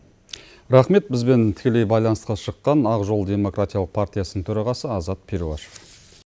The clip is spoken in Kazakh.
рахмет бізбен тікелей байланысқа шыққан ақжол демократиялық партиясының төрағасы азат перуашев